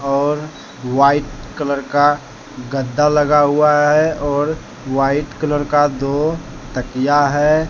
और white colour का गद्दा लगा हुआ है और वाइट कलर का दो तकिया है।